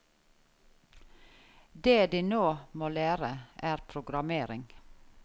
Det de nå må lære, er programmering.